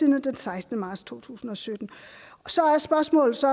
den sekstende marts to tusind og sytten så er spørgsmålet så